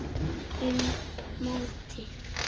Um mótið